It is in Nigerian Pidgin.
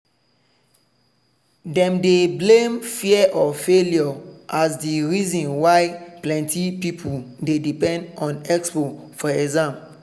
dem dey blame fear of failure as the reason why plenty people dey depend on expo for exam.